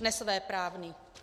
nesvéprávný.